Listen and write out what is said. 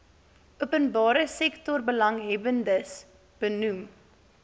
openbare sektorbelanghebbers benoem